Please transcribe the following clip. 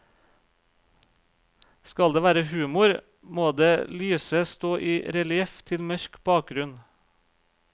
Skal det være humor, må det lyse stå i relieff til mørk bakgrunn.